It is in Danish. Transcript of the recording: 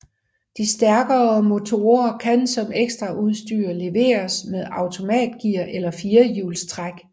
De stærkere motorer kan som ekstraudstyr leveres med automatgear eller firehjulstræk